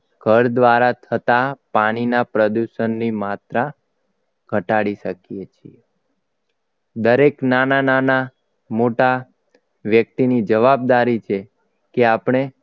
ઘર દ્વારા થતા પાણીના પ્રદૂષણની માત્રા ઘટાડી શકીએ છીએ દરેક નાના નાના મોટા વ્યક્તિની જવાબદારી છે કે આપણે